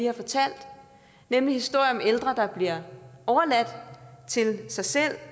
har fortalt nemlig historier om ældre der bliver overladt til sig selv og